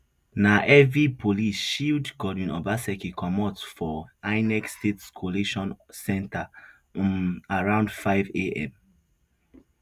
na heavy police shield godwin obaseki comot for inec state collation center um around fiveam